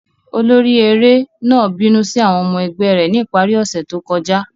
Olori ere náà binu si awọn ọmọ ẹgbẹ rẹ ni ipari ose to kọja.